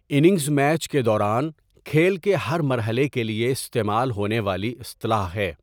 Innings match کے دوران کھیل کے ہر مرحلے کے لیے استعمال ہونے والی اصطلاح ہے۔